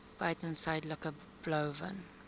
buiten suidelike blouvin